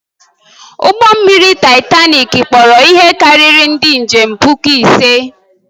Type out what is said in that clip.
Ụgbọ mmiri Taịtanik kpọrọ ihe karịrị ndị njem puku ise.